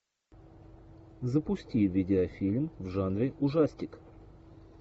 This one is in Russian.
запусти видеофильм в жанре ужастик